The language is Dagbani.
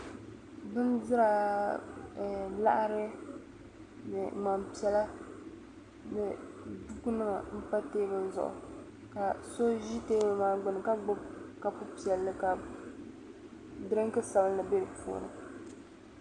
bindira ɛɛh laɣiri ni ŋman' piɛla ni bukunima m-pa teebuli zuɣu ka so ʒi teebuli maa gbuni ka gbubi kopu piɛlli ka dirinki sabilinli be di puuni